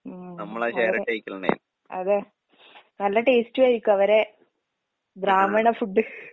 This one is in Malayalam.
ഉം. അവരെ അതെ. നല്ല ടേസ്റ്റും ആയിരിക്കും അവരെ ബ്രാഹ്മണ ഫുഡ്.